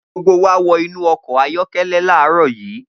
Gbogbo wa wọ inú ọkọ̀ ayọ́kẹ́lẹ́ láàárọ̀ yìí.